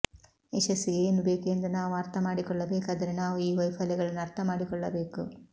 ಯಶಸ್ಸಿಗೆ ಏನು ಬೇಕು ಎಂದು ನಾವು ಅರ್ಥಮಾಡಿಕೊಳ್ಳಬೇಕಾದರೆ ನಾವು ಈ ವೈಫಲ್ಯಗಳನ್ನು ಅರ್ಥಮಾಡಿಕೊಳ್ಳಬೇಕು